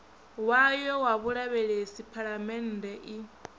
wayo wa vhulavhelesi phalamennde i